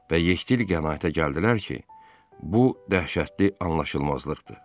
Və yekdil qənaətə gəldilər ki, bu dəhşətli anlaşılmazlıqdır.